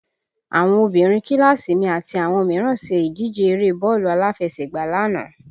Àwọn obìnrin kíláàsì mi àti àwọn mìíràn ṣe ìdíje eré bọ́ọ̀lù aláfẹsẹ̀gbá lánàá